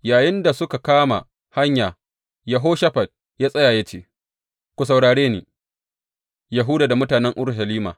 Yayinda suka kama hanya, Yehoshafat ya tsaya ya ce, Ku saurare ni, Yahuda da mutanen Urushalima!